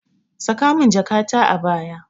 Saka min jakata a baya.